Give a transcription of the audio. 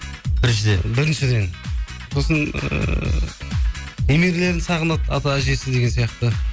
біріншіден біріншіден сосын ыыы немелерін сағынады ата әжесі деген сияқты